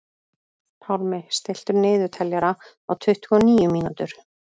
Pálmi, stilltu niðurteljara á tuttugu og níu mínútur.